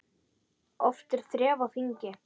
Oft er þref á þingi.